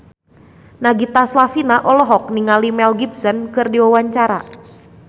Nagita Slavina olohok ningali Mel Gibson keur diwawancara